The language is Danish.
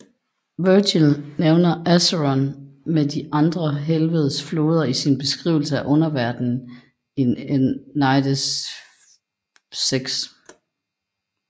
Virgil nævner Acheron med de andre helvedes floder i sin beskrivelse af underverdenen i Æneidens VI